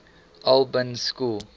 albans school